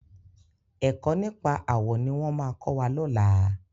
Ẹ̀kọ́ nípa àwọ̀ ní wọ́n máa kọ́ wa lọ́làá.